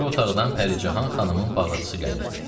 O biri otaqdan Pəricahan xanımın bağırçısı gəlirdi.